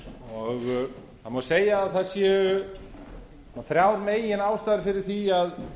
í efnahagsmálum það má segja að það séu þrjár meginástæður fyrir því að